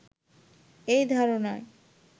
এই ধারণা